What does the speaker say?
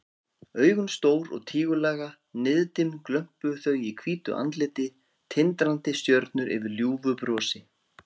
Augun stór og tígullaga, niðdimm glömpuðu þau í hvítu andliti, tindrandi stjörnur yfir ljúfu brosi.